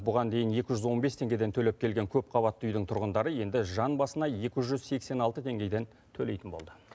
бұған дейін екі жүз он бес теңгеден төлеп келген көп қабатты үйдің тұрғындары енді жан басына екі жүз сексен алты теңгеден төлейтін болды